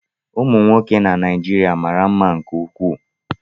Ụmụ nwoke na Naijiria mara mma nke ukwuu